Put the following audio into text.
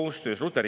Palun kaks minutit!